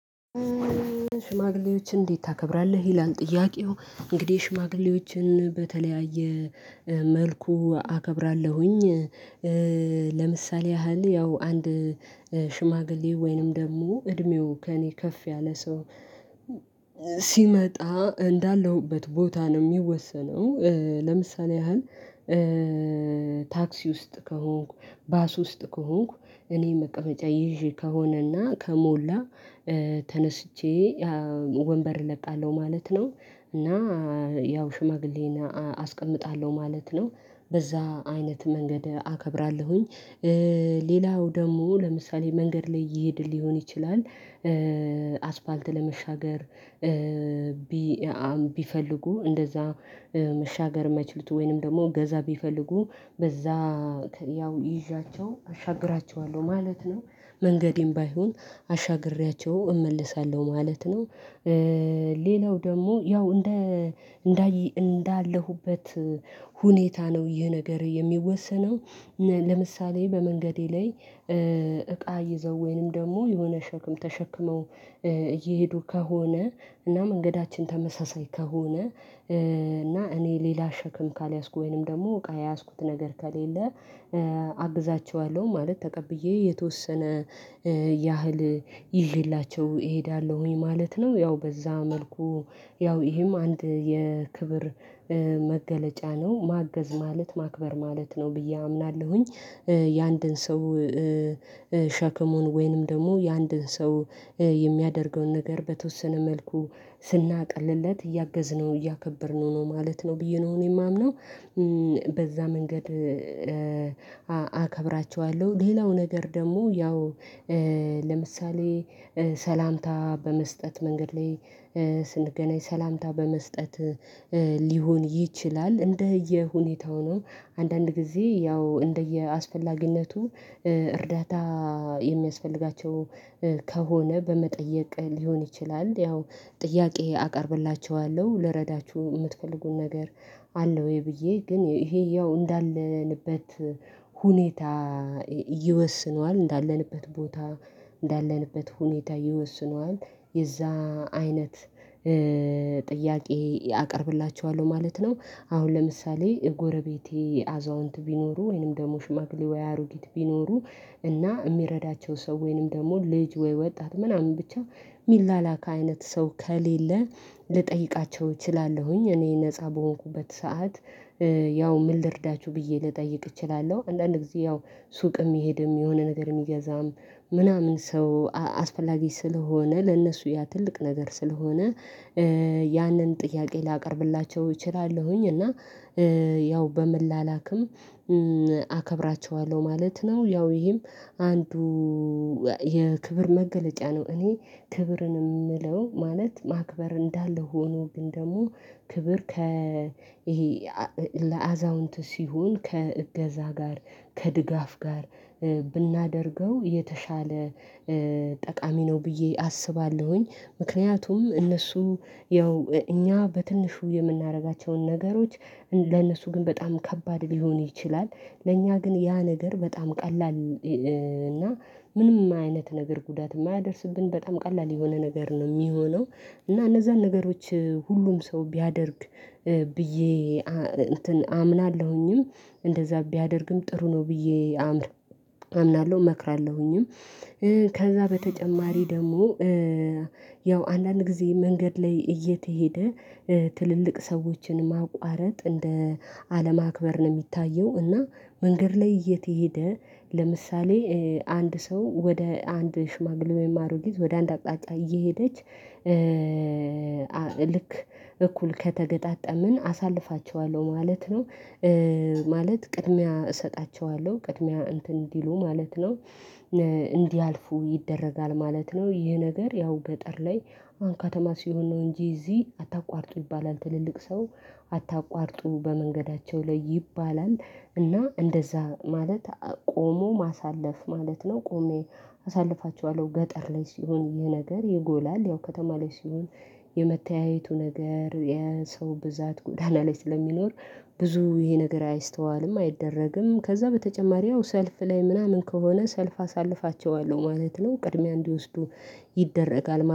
ሽማግሌዎችን እንዴት ታከብራለህ ይላል ጥያቄው? እንግዲህ ሽማግሌዎችን በተለያየ መልኩ አከብራለሁኝ። ለምሳሌ ያህል ያው አንድ ሽማግሌ ወይንም ደግሞ እድሜው ከእኔ ከፍ ያለ ሰው ሲመጣ እንዳለሁበት ቦታ ነው የሚወሰነው። ለምሳሌ ያህል ታክሲ ውስጥ ከሆንኩ ባስ ውስጥ ከሆንኩ እኔ መቀመጫ ይዤ ከሆነና ከሞላ ተነስቼ ወንበር እለቃለሁ ማለት ነው እና ያው ሽማግሌን አስቀምጣለሁ ማለት ነው በዛ አይነት መንገድ አከብራለሁኝ። ሌላው ደግሞ ለምሳሌ መንገድ ላይ እየሄድን ሊሆን ይችላል አስፋልት ለመሻገር ቢ አ አም ቢፈልጉ እንደዛ መሻገር የማይችሉት ወይንም ደግሞ እገዛ ቢፈልጉ በዛ ያው ይዣቸው አሻግራቸዋለሁ ማለት ነው መንገዴም ባይሆን አሻግሬያቸው እመልሳለሁ ማለት ነው። ሌላው ደግሞ ያው እንደ እንዳየ እንዳለሁበት ሁኔታ ነው ይህ ነገር የሚወሰነው። ለምሳሌ በመንገዴ ላይ እቃ ይዘው ወይንም ደግሞ የሆነ ሸክም ተሸክመው እየሄዱ ከሆነ እና መንገዳችን ተመሳሳይ ከሆነ እና እኔ ሌላ ሸክም ካልያዝኩ ወይንም ደግሞ እቃ የያዝኩት ነገር ከሌለ አግዛቸዋለሁ ማለት ተቀብዬ የተወሰነ ያህል ይዤላቸው እሄዳለሁኝ ማለት ነው ያው በዛ መልኩ ያው ይሄም አንድ የክብር መገለጫ ነው ማገዝ ማለት ማክበር ማለት ነው ብዬ አምናለሁኝ። የአንድን ሰው ሸክሙን ወይንም ደግሞ የአንድን ሰው የሚያደርገውን ነገር በተወሰነ መልኩ ስናቀልለት እያገዝነው እያከበርነው ነው ማለት ነው ብዬ ነው እኔ የማምነው። በዛ መንገድ አ አከብራቸዋለሁ ሌላው ነገር ደግሞ ያው ለምሳሌ ሰላምታ በመስጠት መንገድ ላይ ስንገናኝ ሰላምታ በመስጠት ሊሆን ይችላል እንደየሁኔታው ነው አንዳንድ ጊዜ ያው እንደየአስፈላጊነቱ እርዳታ የሚያስፈልጋቸው ከሆነ በመጠየቅ ሊሆን ይችላል ያው ጥያቄ አቀርብላቸዋለሁ ልረዳችሁ የምትፈልጉት ነገር አለ ወይ ብዬ ግን ይሄ ያው እንዳለንበት ሁኔታ ይወስነዋል እንዳለንበት ቦታ እንዳለንበት ሁኔታ ይወስነዋል የዛ አይነት ጥያቄ አቀርብላቸዋለሁ ማለት ነው። አሁን ለምሳሌ ጎረቤቴ አዛውንት ቢኖሩ ወይንም ደግሞ ሽማግሌ ወይ አሩጊት ቢኖሩ እና የሚረዳቸው ሰው ወይንም ደግሞ ልጅ ወይ ወጣት ምናምን ብቻ የሚላላካ አይነት ሰው ከሌለ ልጠይቃቸው እችላለሁኝ እኔ ነፃ በሆንኩበት ሰዓት ያው ምን ልርዳችሁ ብዬ ልጠይቅ እችላለሁ አንዳንድ ጊዜ ያው ሱቅ የሚሄድም የሆነ ነገር የሚገዛም ምናምን ሰው አስፈላጊ ስለሆነ ለእነሱ ያ ትልቅ ነገር ስለሆነ ያንን ጥያቄ ላቀርብላቸው እችላለሁኝ እና ያው በመ ላላክም አከብራቸዋለሁ ማለት ነው። ያው ይሄም አንዱ የክብር መገለጫ ነው እኔ ክብርን የምለው ማለት ማክበር እንዳለ ሆኖ ግን ደግሞ ክብር ከ ይሄ ለአዛውንት ሲሆን ከእገዛ ጋር ከድጋፍ ጋር ብናደርገው የተሻለ ጠቃሚ ነው ብዬ አስባለሁኝ። ምክንያቱም እነሱ ያው እኛ በትንሹ የምናደርጋቸውን ነገሮች ለእነሱ ግን በጣም ከባድ ሊሆን ይችላል ለእኛ ግን ያ ነገር በጣም ቀላል እና ምንም አይነት ነገር ጉዳት የማያደርስብን በጣም ቀላል የሆነ ነገር ነው የሚሆነው እና እነዛን ነገሮች ሁሉም ሰው ቢያደርግ ብዬ አ እንትን አምናለሁኝም እንደዛ ቢያደርግም ጥሩ ነው ብዬ አምር አምናለሁ እመክራለሁኝም። ከዛ በተጨማሪ ደግሞ ያው አንዳንድ ጊዜ መንገድ ላይ እየተሄደ ትልልቅ ሰዎችን ማቋረጥ እንደ አለማክበር ነው የሚታየው እና መንገድ ላይ እየተሄደ ለምሳሌ አንድ ሰው ወደ አንድ ሽማግሌ ወይም አሮጊት ወደ አንድ አቅጣጫ እየሄደች ልክ እኩል ከተገጣጠምን አሳልፋቸዋለሁ ማለት ነው። ማለት ቅድሚያ እሰጣቸዋለሁ ቅድሚያ እንትን እንዲሉ ማለት ነው። እንዲያልፉ ይደረጋል ማለት ነው ይሄ ነገር ያው ገጠር ላይ አሁን ከተማ ሲሆን ነው እንጂ እዚህ አታቋርጡ ይባላል ትልልቅ ሰው አታቋርጡ በመንገዳቸው ላይ ይባላል። እና እንደዛ ማለት ቆሞ ማሳለፍ ማለት ነው ቆሜ አሳልፋቸዋለሁ ገጠር ላይ ሲሆን ይሄ ነገር ይጎላል ያው ከተማ ላይ ሲሆን የመተያየቱ ነገር የሰው ብዛት ጐዳና ላይ ስለሚኖር ብዙ ይሄ ነገር አይስተዋልም። አይደረግም ከዛ በተጨማሪ ያው ሰልፍ ላይ ምናምን ከሆነ ሰልፍ አሳልፋቸዋለሁ ማለት ነው ቅድሚያ እንዲወስዱ ይደረጋል